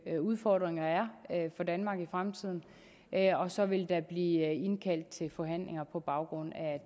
udfordringer er for danmark i fremtiden og så vil der blive indkaldt til forhandlinger på baggrund af